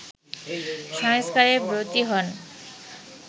সংস্কারে ব্রতী হন